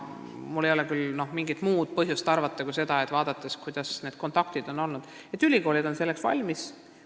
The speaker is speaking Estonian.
Mul ei ole küll põhjust midagi muud arvata, arvestades seniseid kontakte, mis mul on ülikoolidega olnud.